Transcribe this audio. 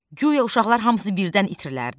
Guya uşaqlar hamısı birdən itirilərdi.